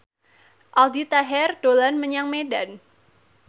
Aldi Taher dolan menyang Medan